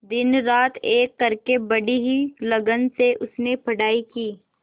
दिनरात एक करके बड़ी ही लगन से उसने पढ़ाई की